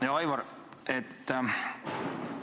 Hea Aivar!